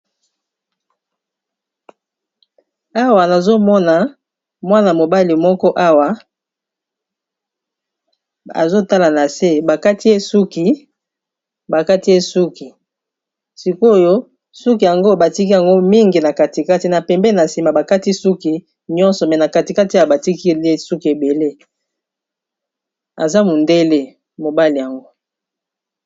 Awa nazomona mwana mobali moko awa azotala na se bakati ye suki bakati, sikoyo suki yango batiki yango mingi na katikati na pembe na nsima bakati suki nyonso mais na katikati batikeliye suki ebele aza mundele mobali yango.